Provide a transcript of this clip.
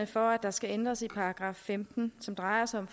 for at der skal ændres i § femten som drejer sig om